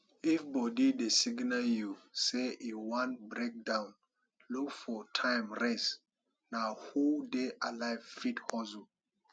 if body dey signal you sey e wan break down look for time rest na who dey alive fit hustle